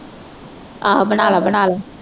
ਆਹੋ ਬਣਾ ਲਓ ਬਣਾ ਲਓ।